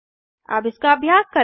अब इसका अभ्यास करें